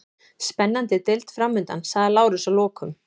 Spennandi deild framundan, sagði Lárus að lokum.